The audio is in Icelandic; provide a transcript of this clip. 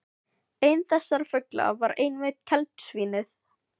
Einn þessara fugla var einmitt keldusvín- ið.